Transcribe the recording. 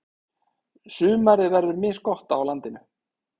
Sumarið verður misgott á landinu.